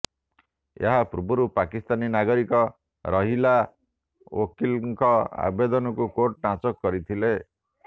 ଏହା ପୂର୍ବରୁ ପାକିସ୍ତାନୀ ନାଗରିକ ରାହିଲା ୱକିଲ୍ଙ୍କ ଆବେଦନକୁ କୋର୍ଟ ନାକଚ କରିଥିଲେ